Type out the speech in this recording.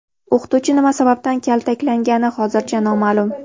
O‘qituvchi nima sababdan kaltaklangani hozircha noma’lum.